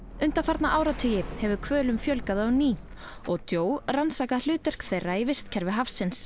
undanfarna áratugi hefur hvölum fjölgað á ný og rannsakað hlutverk þeirra í vistkerfi hafsins